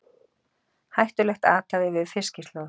Hættulegt athæfi við Fiskislóð